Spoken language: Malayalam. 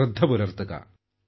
ശ്രദ്ധപുലർത്തുക